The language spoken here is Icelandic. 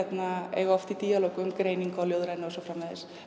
eiga oft í díalóg um greiningu á ljóðrænu og svo framvegis